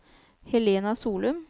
Helena Solum